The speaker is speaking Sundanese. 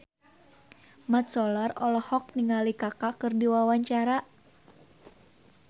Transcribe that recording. Mat Solar olohok ningali Kaka keur diwawancara